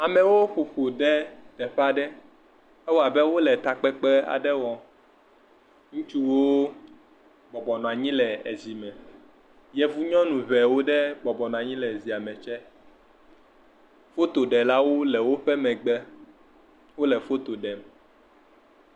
Amewo ƒoƒu ɖe teƒea ɖe. Ewɔ abe wole ta kpekpe wɔm. Ŋutsuwo bɔbɔ nɔ anyi le zi me. Yevu nyɔnu aɖewo bɔbɔ nɔ anyi le zia me tsɛ. Foto ɖe la wò le woƒe megbe. Wòle foto ɖem.